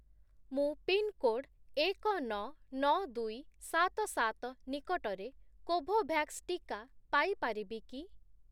ମୁଁ ପିନ୍‌କୋଡ୍ ଏକ, ନଅ, ନଅ, ଦୁଇ, ସାତ, ସାତ ନିକଟରେ କୋଭୋଭ୍ୟାକ୍ସ୍ ଟିକା ପାଇ ପାରିବି କି?